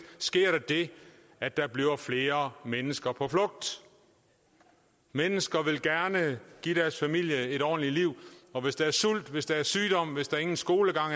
sker der det at der bliver flere mennesker på flugt mennesker vil gerne give deres familie et ordentligt liv og hvis der er sult hvis der er sygdom hvis der ingen skolegang